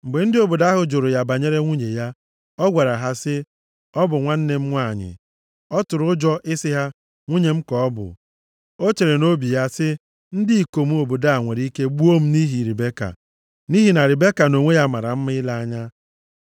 Mgbe ndị obodo ahụ jụrụ ya banyere nwunye ya, ọ gwara ha sị, “Ọ bụ nwanne m nwanyị.” Ọ tụrụ ụjọ ị sị ha, “Nwunye m ka ọ bụ,” O chere nʼobi ya sị, “Ndị ikom obodo a nwere ike gbuo m nʼihi Ribeka. Nʼihi na Ribeka nʼonwe ya mara mma ile anya.”